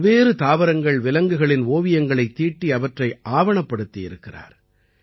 பல்வேறு தாவரங்கள்விலங்குகளின் ஓவியங்களைத் தீட்டி அவற்றை ஆவணப்படுத்தியிருக்கிறார்